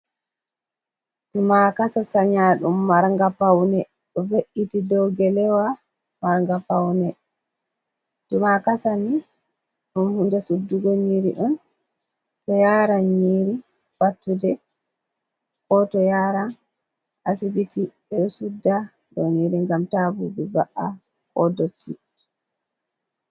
Tumakasa sanya ɗum marnga paune. Ɗo ve’iti ɗow gelewa marnga paune. Tumakasani ɗum hunɗe suɗɗugo nyiri on, to yaran nyiri pattuɗe, ko to yaran asibiti, ɓe ɗo suɗɗa ɗow nyiri ngam ta ɓuɓi va’a, ko ɗotti.